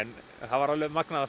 að fá að vera með svona